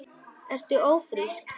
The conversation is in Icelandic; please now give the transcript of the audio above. Ertu ófrísk?